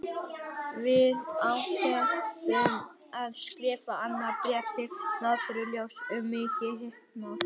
Við ákváðum að skrifa annað bréf til Norðurljósa um mikið hitamál!